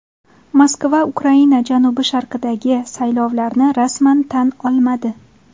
Moskva Ukraina janubi-sharqidagi saylovlarni rasman tan olmadi.